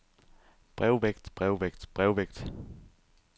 brevvægt brevvægt brevvægt